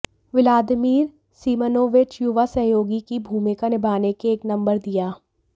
Vladimir Semyonovich युवा सहयोगी की भूमिका निभाने के एक नंबर दिया